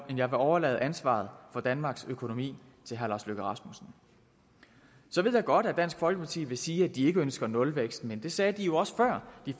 jeg vil overlade ansvaret for danmarks økonomi til herre lars løkke rasmussen så ved jeg godt at dansk folkeparti vil sige at de ikke ønsker nulvækst men det sagde de jo også før de